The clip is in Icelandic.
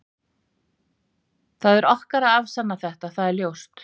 Það er okkar að afsanna þetta, það er ljóst.